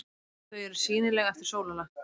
Þau eru sýnileg eftir sólarlag.